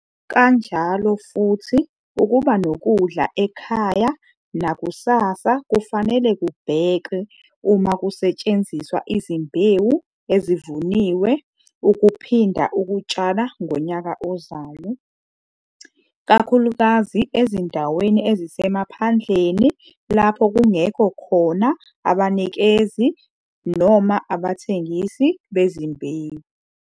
Kanjalo futhi ukuba nokudla ekhaya nakusasa kufanele kubhekwe uma kusetshenziswa izimbewu ezivuniwe ukuphinda ukutshala ngonyaka ozayo, kakhulukazi ezindaweni ezisemaphandleni lapho kungekho khona abanikezi - abathengisi bezimbewu.